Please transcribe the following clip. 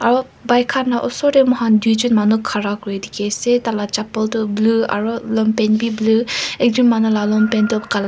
ro bike khan la osor tey moihan duijun manu khara kuri dikhi ase taila chapal tu blue aro longpant bi blue ekjun manu la longpant toh kala.